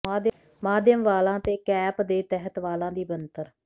ਮਾਧਿਅਮ ਵਾਲਾਂ ਤੇ ਕੈਪ ਦੇ ਤਹਿਤ ਵਾਲਾਂ ਦੀ ਬਣਤਰ